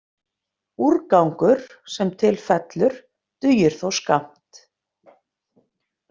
Úrgangur, sem til fellur, dugir þó skammt.